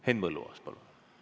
Henn Põlluaas, palun!